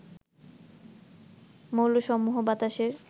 মৌলসমূহ বাতাসের